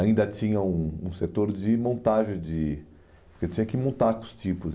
Ainda tinha um um setor de montagem de, porque tinha que montar com os tipos.